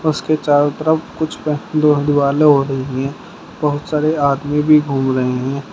उसके चारों तरफ कुछ पे दो दीवालें हो रही हैं बहुत सारे आदमी भी घूम रहे हैं।